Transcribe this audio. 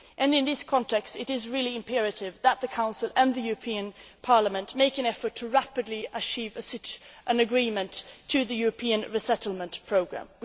In this context, it is imperative that the Council and the European Parliament make an effort to rapidly achieve an agreement on the European Resettlement Programme.